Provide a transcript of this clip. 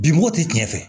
Bi mugu ti tiɲɛ fɛ